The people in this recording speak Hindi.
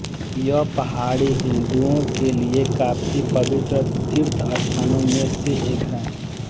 यह पहाड़ी हिन्दुओं के लिए काफी पवित्र तीर्थस्थानों में से एक है